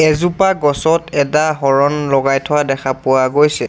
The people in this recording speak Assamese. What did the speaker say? এজোপা গছত এটা হৰণ লগাই থোৱা দেখা পোৱা গৈছে।